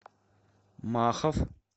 махов